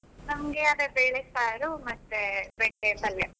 ನಮಗೆ ಅದೇ ಬೇಳೆ ಸಾರು ಮತ್ತೆ ಬೆಂಡೆ ಪಲ್ಯ.